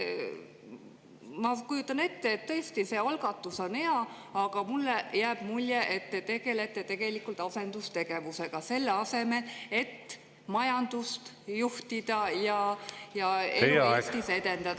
Ma kujutan ette, et tõesti, see algatus on hea, aga mulle jääb mulje, et te tegelete asendustegevusega, selle asemel et majandust juhtida ja elu Eestis edendada.